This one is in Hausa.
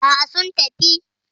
Aa, sun tafi